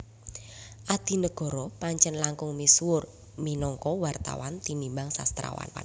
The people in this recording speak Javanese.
Adinegoro Pancèn langkung misuwur minangka wartawan tinimbang sastrawan